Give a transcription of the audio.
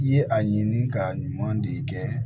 I ye a ɲini ka ɲuman de kɛ